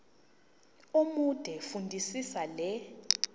omude fundisisa le